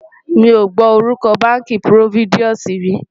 mí ọ gbó orúko bánkì providusi rí